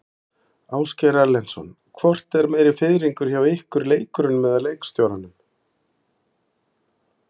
Ásgeir Erlendsson: Hvort er meiri fiðringur hjá ykkur, leikurunum eða leikstjóranum?